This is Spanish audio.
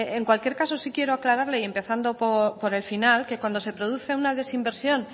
en cualquier caso sí quiero aclararle y empezando por el final que cuando se produce una desinversión